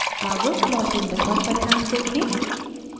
अब plot window पर परिणाम देखें